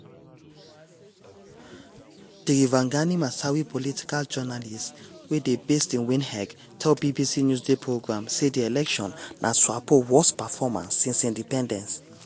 tirivangani masawi political journalist wey dey based in windhoek tell bbc newsday programme say di election na swapo "worst performance since independence".